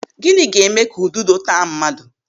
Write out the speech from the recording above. Gịnị ga-eme ka ududo taa mmadụ?